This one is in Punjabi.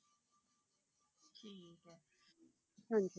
ਹਾਂਜੀ